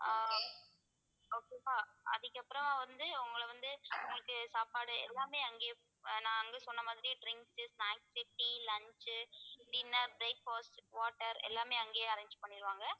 ஆஹ் okay வா அதுக்கப்புறம் வந்து உங்களை வந்து உங்களுக்கு சாப்பாடு எல்லாமே அங்கயே ஆஹ் நான் அங்க சொன்ன மாதிரி drinks, snacks, tea, lunch, dinner, breakfast, water எல்லாமே அங்கேயே arrange பண்ணிடுவாங்க